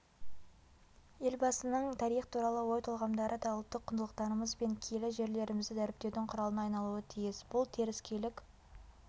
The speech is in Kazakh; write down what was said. елбасының тарих туралы ой-толғамдары да ұлттық құндылықтарымыз бен киелі жерлерімізді дәріптеудің құралына айналуы тиіс бұл теріскейлік